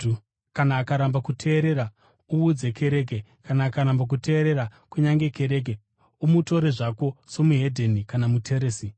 Kana akaramba kuteerera, uudze kereke, kana akaramba kuteerera kunyange kereke, umutore zvako somuhedheni kana muteresi.